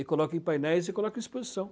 E coloco em painéis e coloco em exposição.